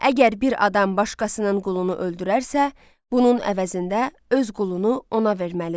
Əgər bir adam başqasının qulunu öldürərsə, bunun əvəzində öz qulunu ona verməlidir.